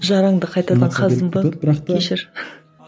жараңды қайтадан қаздым ба кешір